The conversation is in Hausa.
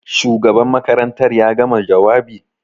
Shugaban makarantar ya gama jawabi?